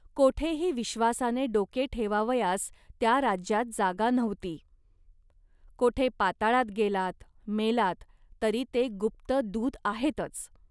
कोठेही विश्वासाने डोके ठेवावयास त्या राज्यात जागा नव्हती. कोठे पाताळात गेलात, मेलात, तरी ते गुप्त दूत आहेतच